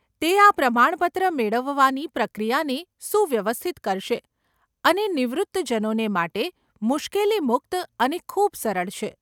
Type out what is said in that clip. તે આ પ્રમાણપત્ર મેળવવાની પ્રક્રિયાને સુવ્યવસ્થિત કરશે અને નિવૃત્તજનોને માટે મુશ્કેલી મુક્ત અને ખૂબ સરળ છે.